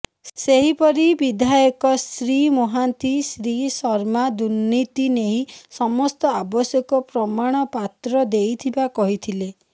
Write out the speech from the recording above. ସେହିପରି ବିଧାୟକ ଶ୍ରୀ ମହାନ୍ତି ଶ୍ରୀ ଶର୍ମା ଦୁର୍ନୀତି ନେଇ ସମସ୍ତ ଆବଶ୍ୟକ ପ୍ରମାଣପାତ୍ର ଦେଇଥିବା କହିଥିଲେ